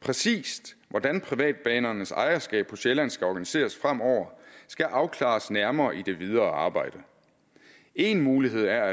præcis hvordan privatbanernes ejerskab på sjælland skal organiseres fremover skal afklares nærmere i det videre arbejde en mulighed er at